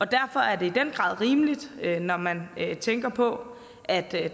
derfor er det i den grad rimeligt når man tænker på at der